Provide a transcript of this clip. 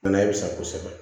Ala bɛ sa kosɛbɛ